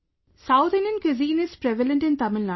South Indian cuisine is prevalent in Tamilnadu